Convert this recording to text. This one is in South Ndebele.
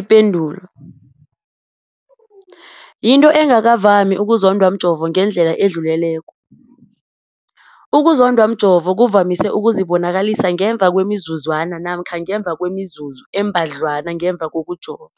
Ipendulo, yinto engakavami ukuzondwa mjovo ngendlela edluleleko. Ukuzondwa mjovo kuvamise ukuzibonakalisa ngemva kwemizuzwana namkha ngemva kwemizuzu embadlwana ngemva kokujova.